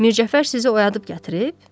Mircəfər sizi oyadıb gətirib?